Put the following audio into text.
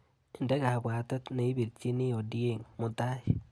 Inde kabwatet neipirchini Ondiek mutai.